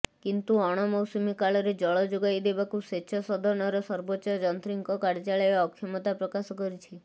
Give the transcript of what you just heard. କିନ୍ତୁ ଅଣମୌସୁମୀ କାଳରେ ଜଳ ଯୋଗାଇଦେବାକୁ ସେଚ ସଦନର ସର୍ବୋଚ୍ଚ ଯନ୍ତ୍ରୀଙ୍କ କାର୍ଯ୍ୟାଳୟ ଅକ୍ଷମତା ପ୍ରକାଶ କରିଛି